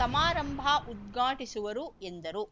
ಸಮಾರಂಭ ಉದ್ಘಾಟಿಸುವರು ಎಂದರು